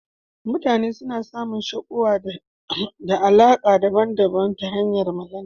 Mutane suna samun shakuwa ne ta alaka daban daban ta hanyan Magana